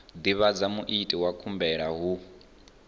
divhadza muiti wa khumbelo hu